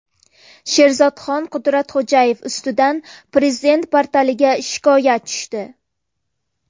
Sherzodxon Qudratxo‘jayev ustidan Prezident portaliga shikoyat tushdi .